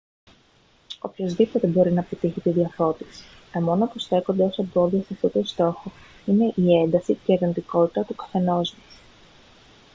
οποιοσδήποτε μπορεί να πετύχει την διαφώτιση τα μόνα που στέκονται ως εμπόδια σε αυτό τον στόχο είναι η ένταση και η αρνητικότητα του καθενός μας